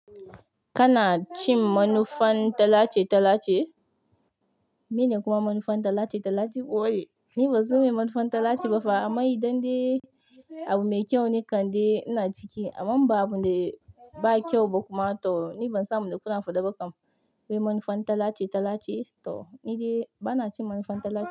Kana cin manufan talace talace? Mene kuma manufan talace talace ni ban san mene manufan talace bafa amma indai abu mai kyau ne kam dai ina ciki amma in ba abinda ba kyau ba kuma to ni ban san abunda kana faɗe ba kam mai manufan talace talace to ni dai bana cin manufan talace.